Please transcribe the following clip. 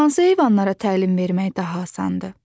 Hansı heyvanlara təlim vermək daha asandır?